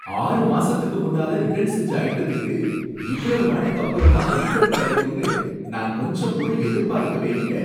ஆறு மாசத்துக்கு முன்னால ரிட்டர்ன் செஞ்ச ஐட்டத்துக்கு, இவ்வளவு நாளைக்கு அப்புறமா ரீஃபண்ட் கடைக்கும்னு நான் கொஞ்சம் கூட எதிர்பார்க்கவே இல்ல.